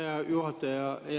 Hea juhataja!